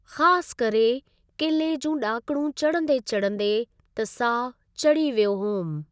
ख़ासि करे किले जूं डा॒कणूं चढ़ंदे चढ़ंदे त साह चढ़ी वियो होमि।